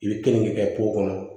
I bɛ keninke kɛ kɔnɔ